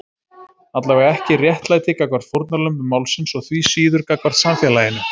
Allavega ekki réttlæti gagnvart fórnarlömbum málsins og því síður gagnvart samfélaginu.